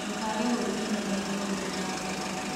Ndũkage gwĩkinya magego mbere ya gũkoma